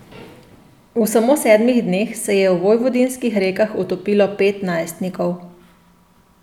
V samo sedmih dneh se je v vojvodinskih rekah utopilo pet najstnikov.